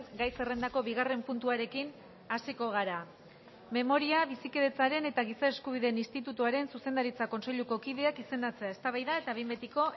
gai zerrendako bigarren puntuarekin hasiko gara memoriaren bizikidetzaren eta giza eskubideen institutuaren zuzendaritza kontseiluko kideak izendatzea eztabaida eta behin betiko